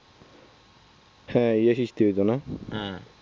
হ্যাঁ এ সৃষ্টি হতো না